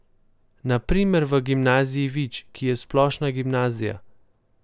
Na primer v gimnaziji Vič, ki je splošna gimnazija.